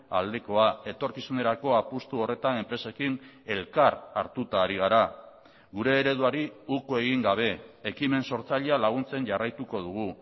aldekoa etorkizunerako apustu horretan enpresekin elkar hartuta ari gara gure ereduari uko egin gabe ekimen sortzailea laguntzen jarraituko dugu